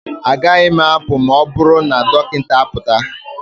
Agaghị m apụ ma ọ bụrụ na dọkịta apụta